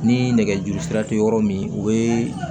Ni nɛgɛjuru sira tɛ yɔrɔ min o ye